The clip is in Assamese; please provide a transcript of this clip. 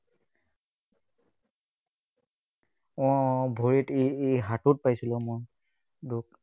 উম ভৰিত এই এই হাতত পাইছিলো মই, দুখ।